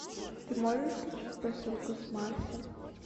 ты можешь включить посылка с марса